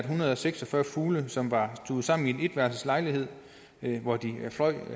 hundrede og seks og fyrre fugle som var stuvet sammen i en etværelses lejlighed hvor de fløj